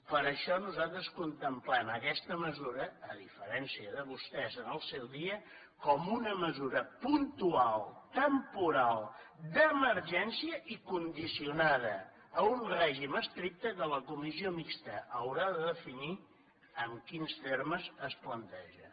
per això nosaltres contemplem aquesta mesura a diferència de vostès en el seu dia com una mesura puntual temporal d’emergència i condicionada a un règim estricte que la comissió mixta haurà de definir en quins termes es planteja